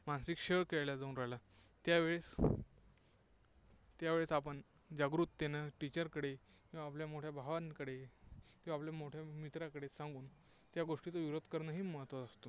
मानसिक छळ केला जाऊन राहिला. त्यावेळीस त्यावेळेस आपण जागृकतेने teacher कडे किंवा आपल्या मोठ्या भावांकडे, किंवा आपल्या मोठ्या मित्रांकडे सांगून या गोष्टीचा विरोध करणं हे महत्त्वाचं असतं.